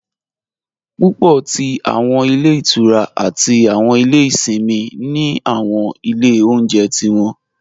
Púpọ̀ tí awọn ilẹ̀ ìtúrá àti awọn ilẹ̀ ìṣìnmi ni awọn ilẹ̀ ọ̀unjẹ̀ tí wọn.